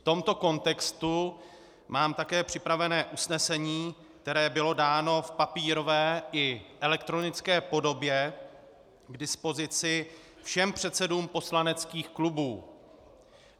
V tomto kontextu mám také připravené usnesení, které bylo dáno v papírové i elektronické podobě k dispozici všem předsedům poslaneckých klubů.